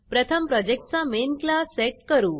प्रथम प्रोजेक्टचा मेन classमेन क्लास सेट करू